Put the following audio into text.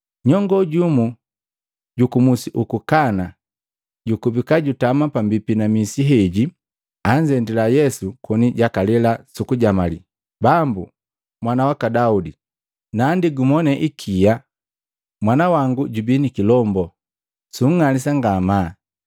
Nyongo jumu juku musi uku Kana, jukubika jutama pambipi na misi heji, anzendila Yesu koni jakalela sukujamali, “Bambu, Mwana waka Daudi, naandi gumone ikia! Mwana wangu jubii nikilombu, sunng'alisa ngamaa.”